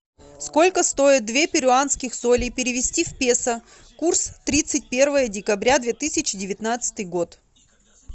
сколько стоит две перуанских солей перевести в песо курс тридцать первое декабря две тысячи девятнадцатый год